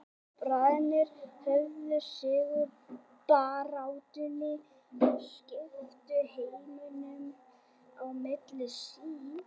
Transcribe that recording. Bræðurnir höfðu sigur í baráttunni og skiptu heiminum á milli sín.